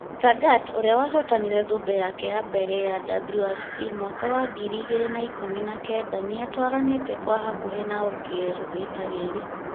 Tanak, ũrĩa wahotire thũmbĩ yake ya mbere ya WRC mwaka wa ngiri igĩrĩ na ikũmi na kenda nĩ atwaranĩtĩ kwa hakuhĩ na Ogier rita rĩrĩ.